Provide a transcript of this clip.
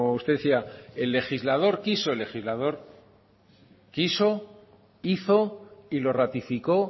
usted decía el legislador quiso hizo y lo ratificó